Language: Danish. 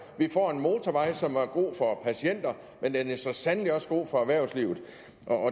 vi får en motorvej som er god for patienter men den er så sandelig også god for erhvervslivet